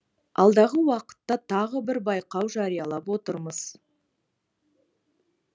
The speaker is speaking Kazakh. алдағы уақытта тағы бір байқау жариялап отырмыз